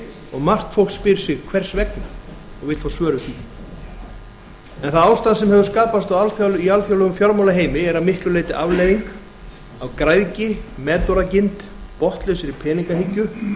og margt fólk spyr sig hvers vegna og vill fá svör við því það ástand sem hefur skapast í alþjóðlegum fjármálaheimi er að miklu leyti afleiðing af græðgi metorðagirndar botnlausrar peningahyggju